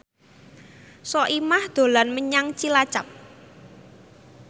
Soimah dolan menyang Cilacap